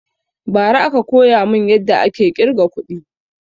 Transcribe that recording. Ba ra aka koya mun yadda ake ƙirga kuɗi